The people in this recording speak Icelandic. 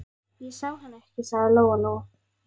Ég sá hann ekki, sagði Lóa-Lóa.